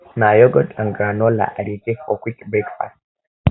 na yogurt and granola i dey take for quick breakfast